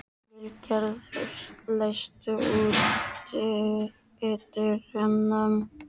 Vilgerður, læstu útidyrunum.